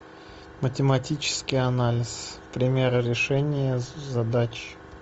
математический анализ примеры решения задач